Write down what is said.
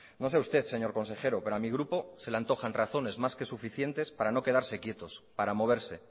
no sé a usted señor consejero pero a mi grupo se le antojan razones más que suficientes para no quedarse quietos para moverse